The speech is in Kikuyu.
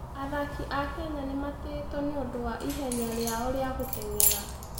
Athaki a Kenya nĩ matĩĩtwo nĩ ũndũ wa ihenya rĩao rĩa gũteng'era.